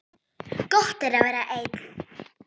Gott er að vera einn.